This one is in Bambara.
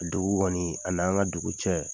Dugu kɔni a n'an ka dugu cɛ